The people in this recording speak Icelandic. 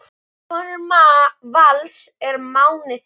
Sonur Vals er Máni Þór.